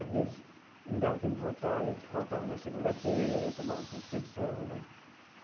Às vezes, não dava tempo de votar e faltava na segunda-feira e tomava suspensão né.